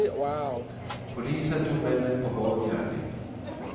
Polisen tog männen på bar gärning.